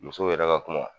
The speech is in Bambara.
Musow yɛrɛ ka kuma